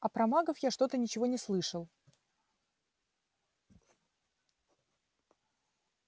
а про магов я что-то ничего не слышал